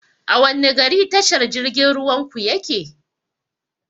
A wanne gari tashar jirgin ruwan ku yake?